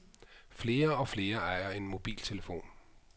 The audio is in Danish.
Flere og flere ejer en mobiltelefon.